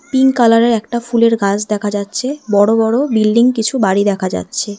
Pink কালারের একটা ফুলের গাছ দেখা যাচ্ছে বড়ো বড়ো বিল্ডিং কিছু বাড়ি দেখা যাচ্ছে।